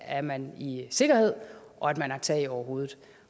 er man i sikkerhed og at man har tag over hovedet